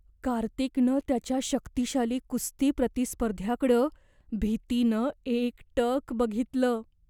कार्तिकनं त्याच्या शक्तिशाली कुस्ती प्रतिस्पर्ध्याकडं भीतीनं एकटक बघितलं.